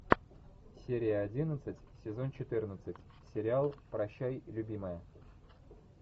серия одиннадцать сезон четырнадцать сериал прощай любимая